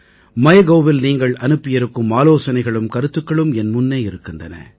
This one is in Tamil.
Mygovஇல் நீங்கள் அனுப்பியிருக்கும் ஆலோசனைகளும் கருத்துக்களும் என் முன்னே இருக்கின்றன